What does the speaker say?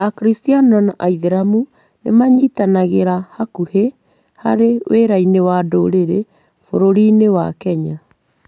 Akristiano na Aithĩramu nĩ manyitanagĩra hakuhĩ harĩ wĩra-inĩ wa ndũrĩrĩ bũrũri-inĩ wa Kenya.